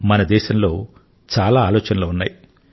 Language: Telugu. మన దేశంలో చాలా ఆలోచనలు ఉన్నాయి